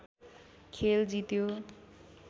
खेल जित्यो